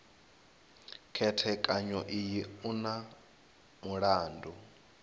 khethekanyo iyi u na mulandu